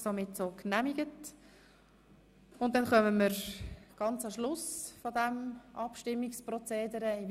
Somit kommen wir ganz an den Schluss dieses Abstimmungsprozederes.